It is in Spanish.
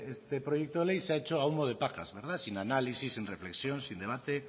este proyecto de ley se ha hecho a humo de pajas sin análisis sin reflexión sin debate